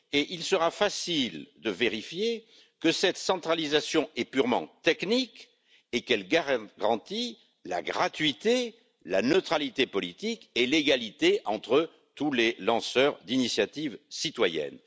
Il sera facile de vérifier que cette centralisation est purement technique et qu'elle garantit la gratuité, la neutralité politique et l'égalité entre tous les lanceurs d'initiatives citoyennes.